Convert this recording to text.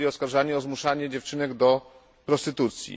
byli oskarżani o zmuszanie dziewczynek do prostytucji.